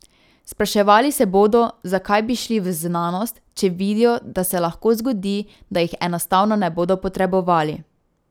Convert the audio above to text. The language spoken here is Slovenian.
Spraševali se bodo, zakaj bi šli v znanost, če vidijo, da se lahko zgodi, da jih enostavno ne bodo potrebovali.